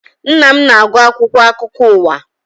Nna m na-agụ akwụkwọ akụkọ ụwa